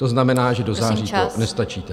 To znamená, že do září to nestačíte.